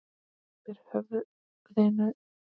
Ber höfðinu í gólfið.